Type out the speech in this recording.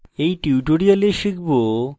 in tutorial শিখব